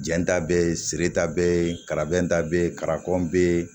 Jɛn ta bɛ ye sirida bɛ yen kalaban ta bɛ ye karapi bɛ